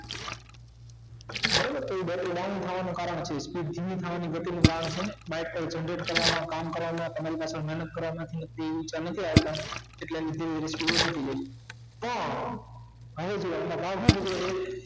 બરાબર તે ગતિ કારણ થયું છે સહેજ ધીમું થાય એની ગતિ નું કારણ bike ને generate કરવામાં કામ કરાવનાર તમારી પાસે મહેનત કરાવામાંથી તેવું ઊચા નથી આવતા ઍટલે પણ